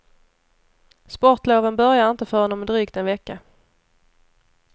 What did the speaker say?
Sportloven börjar inte förrän om drygt en vecka.